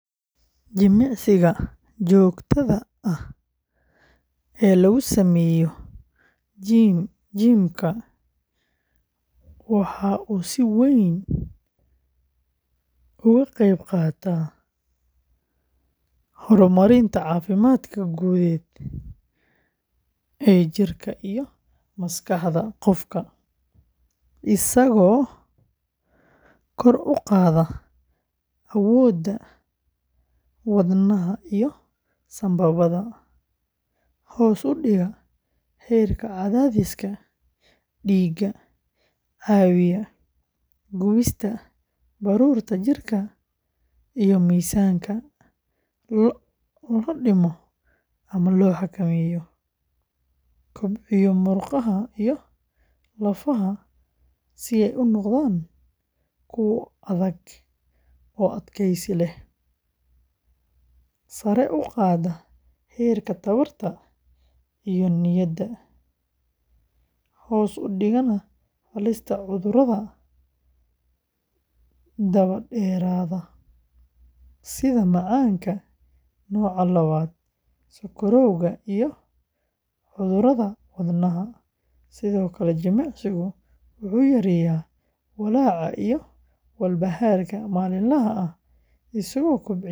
Jimicsiga joogtada ah ee lagu sameeyo jim gym-ka waxa uu si weyn uga qeyb qaataa horumarinta caafimaadka guud ee jirka iyo maskaxda qofka, isagoo kor u qaada awoodda wadnaha iyo sambabada, hoos u dhiga heerka cadaadiska dhiigga, caawiya gubista baruurta jirka si miisaanka loo dhimo ama loo xakameeyo, kobciya murqaha iyo lafaha si ay u noqdaan kuwo adag oo adkaysi leh, sare u qaada heerka tamarta iyo niyadda, hoos u dhigana halista cudurrada daba-dheeraada sida macaanka nooca labaad, sonkorowga, iyo cudurrada wadnaha; sidoo kale, jimicsigu wuxuu yareeyaa walaaca iyo walbahaarka maalinlaha ah isagoo kobciya dheef-shiidka.